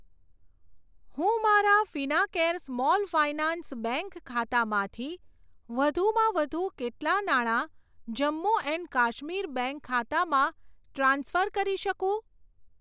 હું મારા Fincare small finance bank ખાતામાંથી વધુમાં વધુ કેટલા નાણા જમ્મુ એન્ડ કાશ્મીર બેંક ખાતામાં ટ્રાન્સફર કરી શકું?